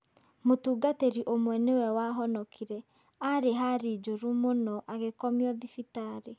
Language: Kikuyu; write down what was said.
Mũtungatĩri ũmwe nĩwe wahonokire. Arĩ hari njoru muno, agĩkomio thibitarĩ.